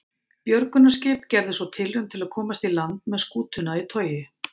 Björgunarskip gerði svo tilraun til að komast í land með skútuna í togi.